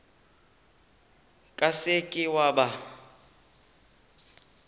ka se ke wa ba